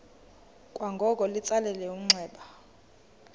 kwangoko litsalele umnxeba